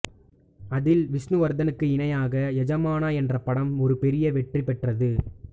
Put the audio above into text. அதில் விஷ்ணுவர்தனுக்கு இணையாக யஜமானா என்ற படம் ஒரு பெரிய வெற்றி பெற்றது